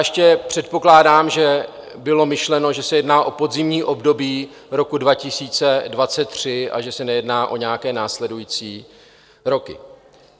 Ještě předpokládám, že bylo myšleno, že se jedná o podzimní období roku 2023 a že se nejedná o nějaké následující roky.